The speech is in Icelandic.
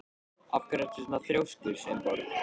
Af hverju ertu svona þrjóskur, Sveinborg?